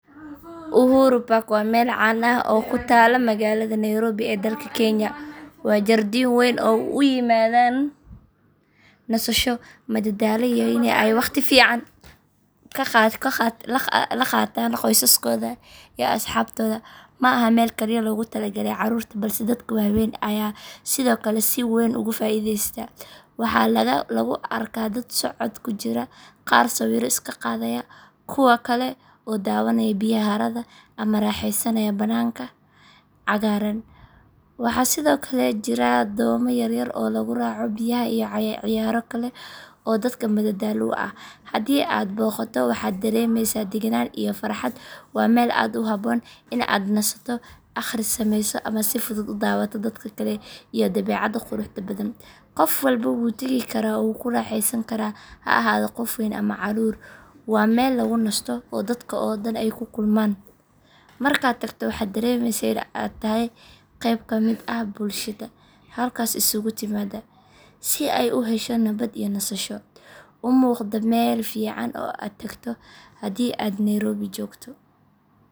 Uhuru Park waa meel caan ah oo ku taalla magaalada Nairobi ee dalka Kenya. Waa jardiin weyn oo dadku u yimaadaan nasasho, madadaalo iyo in ay waqti fiican la qaataan qoysaskooda iyo asxaabtooda. Ma aha meel kaliya loogu tala galay carruurta balse dadka waaweyn ayaa sidoo kale si weyn uga faa’iidaysta. Waxaa lagu arkaa dad socod ku jira, qaar sawirro iska qaadayaa, kuwa kale oo daawanaya biyaha harada ama ku raaxaysanaya bannaanka cagaaran. Waxaa sidoo kale jira doomo yaryar oo lagu raaco biyaha iyo ciyaaro kale oo dadka madadaalo u ah. Haddii aad booqato, waxaad dareemaysaa deganaan iyo farxad. Waa meel ku habboon in aad nasato, akhris sameyso, ama si fudud u daawato dadka kale iyo dabeecadda quruxda badan. Qof walba wuu tagi karaa oo wuu ku raaxaysan karaa, ha ahaado qof weyn ama caruur. Waa meel lagu nasto oo dadka oo dhan ay ku kulmaan. Markaad tagto waxaad dareemaysaa in aad tahay qayb ka mid ah bulshada halkaas isugu timaadda si ay u hesho nabad iyo nasasho. Umuuqda meel fiican oo aad tagto haddii aad Nairobi joogto.